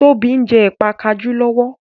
Tóbi njé Ẹ̀pà kajú lówó.